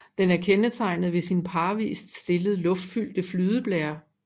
Den er kendetegnet ved sine parvist stillede luftfyldte flydeblærer